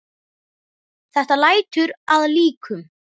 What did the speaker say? Þetta lætur að líkum.